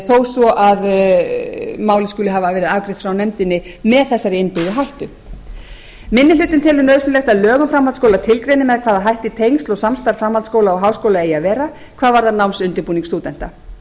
þó svo að málið skuli hafa verið afgreitt frá nefndinni með þessari innbyggðu hættu minni hlutinn telur nauðsynlegt að lög um framhaldsskóla tilgreini með hvaða hætti tengsl og samstarf framhaldsskóla og háskóla eigi að vera hvað varðar námsundirbúning stúdenta